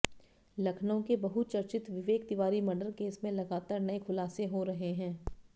लखनऊ के बहुचर्चित Vivek Tiwari murder case में लगातार नए खुलासे हो रहे हैं